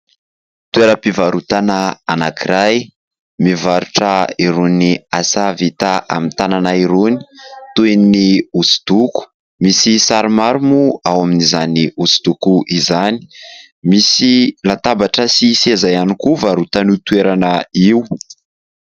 Toeram-pivarotana anankiray mivarotra irony asa vita amin'ny tanana irony, toy ny hosodoko. Misy sary maro moa ao amin'izany hosodoko izany. Misy latabatra sy seza ihany koa varotan' io toerana io.